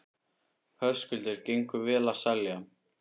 Höskuldur: Gengur vel að selja?